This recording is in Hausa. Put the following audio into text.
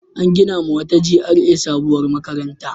An ginawa wata GRA sabuwar makaranta.